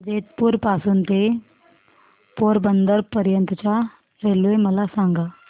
जेतपुर पासून ते पोरबंदर पर्यंत च्या रेल्वे मला सांगा